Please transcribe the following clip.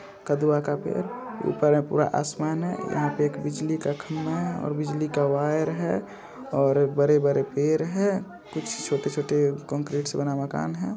कदवा का पेड़ ऊपर में पूरा आसमान है। यहाँ पे एक बिजली का खंभा है और बिजली का वायर है और बड़े-बड़े पेड़ है कुछ छोटे-छोटे कंक्रीट से बना मकान है।